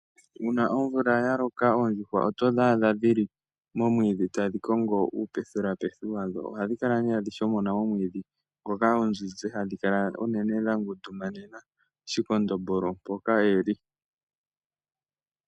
Una omvula yaloka, oondjuhwa oto dhi adha dhili momwiidhi tadhi kongo uupethelapethi wadho. Ohadhi kala ne adhi shomona omwiidhi moka oonzinzi hadhi kala uunene dhangundumanena shikondombolo mpoka eli.